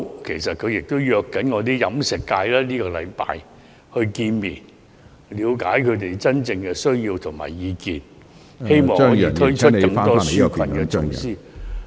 其實，他正約飲食界在這星期見面，了解他們真正的需要和意見，希望可以推出更多紓困措施......